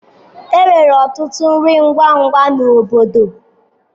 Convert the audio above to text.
Enwere ọtụtụ nri ngwa ngwa na obodo.